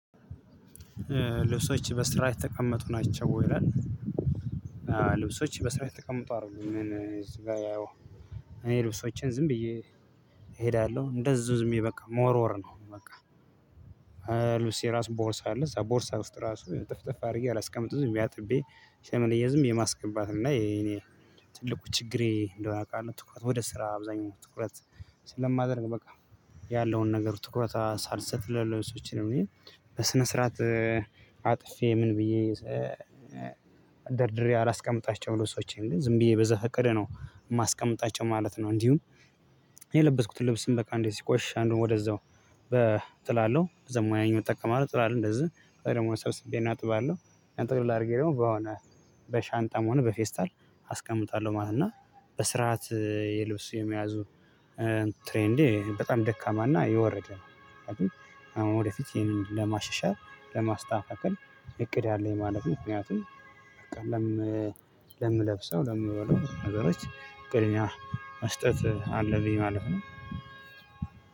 ልብሶችህ በስርዓት የተቀመጡ ናቸው ወይ ይላል? ልብሶች በስርዓት የተቀመጡ አይደሉም ምን እዚህ ጋር ያው እኔ ልብሶቼን ዝም ብዬ እሄዳለሁ እንደዚሁ ዝም ብዬ በቃ መወርወር ነው። በቃ ልብሴ ራሱ ቦርሳ አለ እዛ ቦርሳ ውስጥ ራሱ እጥፍጥፍ አድርጌ አላስቀምጥም ዝም ብዬ አጥቤ ሸምልዬ ዝም ብዬ ማስገባት ነው። እና የኔ ትልቁ ችግሬ እንደሆነ አውቃለሁ። ትኩረት ወደ ስራ አብዛኛው ትኩረት ስለማደርግ በቃ ያለውን ነገር ትኩረት ሳልሰጥ ለለብሶችን ነው ብዬ በስነ ስርዓት አጥፌ ምን ብዬ ደርድሬ አላስቀምጣቸውም ልብሶቼን ግን ዝም ብዬ በዘፈቀደ ነው የማስቀምጣቸው ማለት ነው። እንዲሁም የለበስኩትን ልብስም በቃ እንደእዚህ ሲቆሽሽ አንዱን ወደዛው በ እጥላለው ደሞ ያኛው እጠቀማለው ጥላለው እንደዚህ ወይም ደግሞ ሰብስቤ እጥባለሁ አጥቅልል አድርጌ ደግሞ በሆነ በሻንጣም ሆነ በፌስታል አስቀምጣለሁ ማለት ነው። እና በስርዓት የልብስ የመያዙ ትሬንዴ በጣም ደካማ እና የወረደ ነው። አሁን ወደፊት ይሄንን ለማሻሻል ለማስተካከል እቅድ አለኝ ማለት ምክንያቱም በቃ ለምለብሰው ለምበላው ነገሮች ቅድሚያ መስጠት አለብኝ ማለት ነው።